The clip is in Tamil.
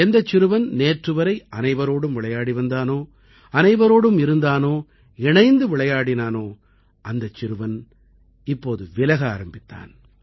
எந்தச் சிறுவன் நேற்றுவரை அனைவரோடும் விளையாடி வந்தானோ அனைவரோடும் இருந்தானோ இணைந்து விளையாடினானோ அந்தச் சிறுவன் இப்போது விலக ஆரம்பித்தான்